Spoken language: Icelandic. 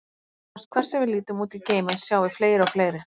Nánast hvert sem við lítum út í geiminn, sjáum við fleiri og fleiri.